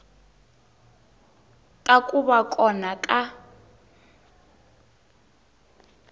ta ku va kona ka